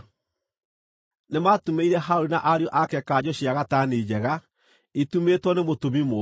Nĩmatumĩire Harũni na ariũ ake kanjũ cia gatani njega, itumĩtwo nĩ mũtumi mũũgĩ.